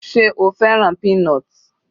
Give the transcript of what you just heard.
Sé o fẹ́ràn peanut l?